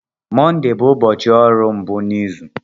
Mọnde bụ ụbọchị ọrụ mbụ n'izu.